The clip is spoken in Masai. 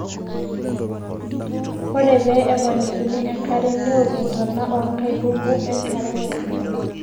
ore pee eponikini enkare neok intona oo nkaitubu enkare